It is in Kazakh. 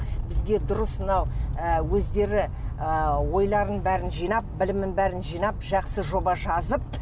бізге дұрыс мынау ы өздері ы ойларын бәрін жинап білімін бәрін жинап жақсы жоба жазып